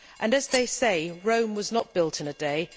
As they say, Rome was not built in a day.